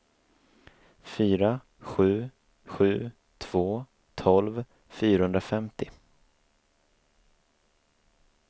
fyra sju sju två tolv fyrahundrafemtio